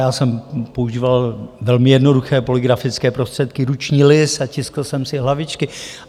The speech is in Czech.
Já jsem používal velmi jednoduché polygrafické prostředky, ruční lis a tiskl jsem si hlavičky.